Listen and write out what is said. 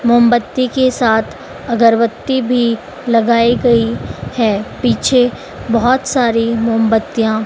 मोमबत्ती के साथ अगरबत्ती भी लगाई गई है पीछे बहोत सारी मामबत्तियाँ --